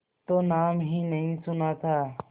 तो नाम ही नहीं सुना था